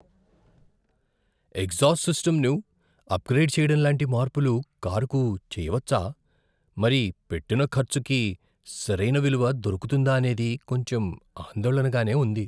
Exhaust సిస్టమ్ను upgrade చేయడం లాంటి మార్పులు కారుకు చేయవచ్చా? మరి పెట్టిన ఖర్చుకి సరైన విలువ దొరుకుతుందా అనేది కొంచెం ఆందోళనగానే ఉంది.